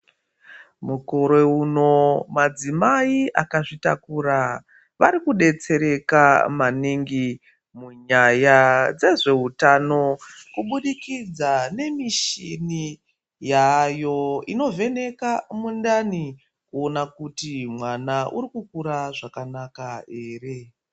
Mukore uno madzimai akazvitakura varikudetsereka maningi munyaya dzezveutano kubudikidza nemichini yaveko inovheneka mudumbu kuona kuti mwana arikukura zvakanaka here.